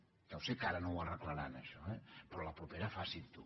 ja ho sé que ara no ho arreglaran això eh però a la propera facin ho